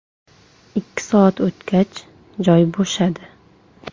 Ikki soat o‘tgach, joy bo‘shadi.